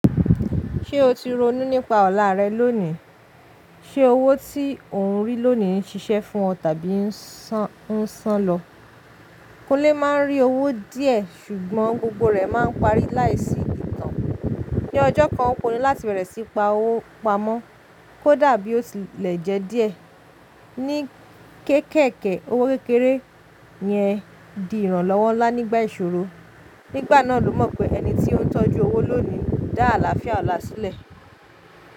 Ṣé o ti ronú nípa ọlá rẹ lónìí? Ṣé owó tí ọ̀ún rí lónìí ń ṣiṣẹ́ fún ọ tàbí o'ń ṣàn lọ? Kúnlé má ń rí owó díẹ́, ṣùgbọ́n gbogbo rẹ̀ máa ń parí láìsí ìtàn. Ní ọjọ́ kan, ò pinu láti bẹ̀rẹ̀ sí pa owó pamọ́, kò dabi ó ti lẹ́jẹ̀ẹ́ díẹ̀. Ní kéékèèké, owó kékeré yẹn di ìrànlọ́wọ́ ńlá nígbà ìṣòro. Nígbà náà ló mọ̀ pé ẹni tí ó ń tọ́jú owó lónìí dá àlàáfíà ọlá sílẹ̀.